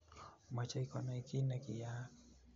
machei konai kinekiiyaak